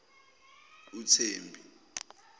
uthembi